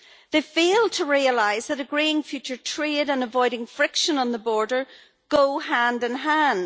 They fail to realise that agreeing future trade and avoiding friction on the border go hand in hand.